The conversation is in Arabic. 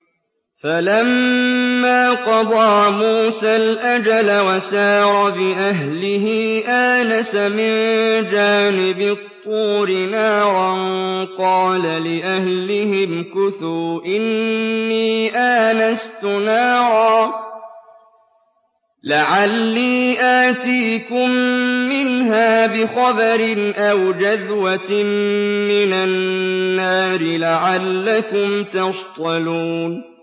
۞ فَلَمَّا قَضَىٰ مُوسَى الْأَجَلَ وَسَارَ بِأَهْلِهِ آنَسَ مِن جَانِبِ الطُّورِ نَارًا قَالَ لِأَهْلِهِ امْكُثُوا إِنِّي آنَسْتُ نَارًا لَّعَلِّي آتِيكُم مِّنْهَا بِخَبَرٍ أَوْ جَذْوَةٍ مِّنَ النَّارِ لَعَلَّكُمْ تَصْطَلُونَ